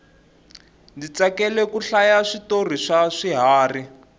ndzi tsakela ku hlaya switori swa swiharhi